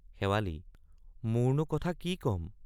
শেৱালি—মোৰনো কথা কি কম?